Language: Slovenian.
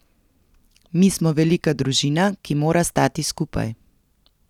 Mi smo velika družina, ki mora stati skupaj.